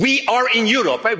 We are in Europe.